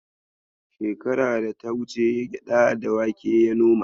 Shekara da ta wuce gyaɗa da wake ya noma.